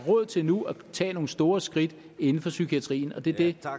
råd til nu at tage nogle store skridt inden for psykiatrien og det er det